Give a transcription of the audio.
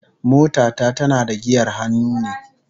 Mota ta tana da giyar hannu ne